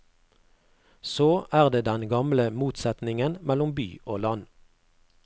Så er det den gamle motsetningen mellom by og land.